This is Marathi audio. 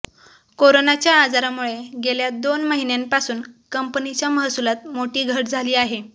कोरोनाच्या आजारामुळे गेल्या दोन महिन्यांपासून कंपनीच्या महसुलात मोठी घट झाली आहे